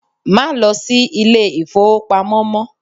Má lo si Ilé-ìfowópamọ́ mó